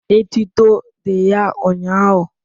etuto dị ya ụnyahụ